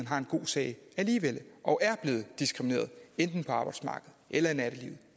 har en god sag og er blevet diskrimineret enten på arbejdsmarkedet eller i nattelivet